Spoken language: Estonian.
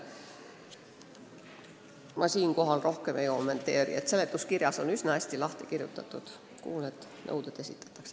Ma siinkohal rohkem ei kommenteeri, seletuskirjas on üsna hästi lahti kirjutatud, kellele need nõuded esitatakse.